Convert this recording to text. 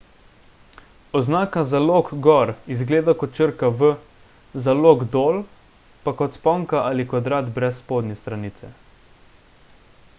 oznaka za lok gor izgleda kot črka v za lok dol pa kot sponka ali kvadrat brez spodnje stranice